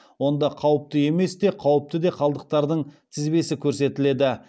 онда қауіпті емес те қауіпті де қалдықтардың тізбесі көрсетіледі